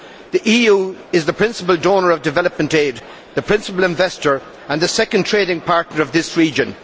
The EU is the principal donor of development aid, the principal investor and the second trading partner of this region.